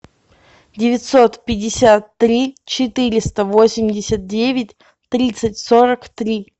девятьсот пятьдесят три четыреста восемьдесят девять тридцать сорок три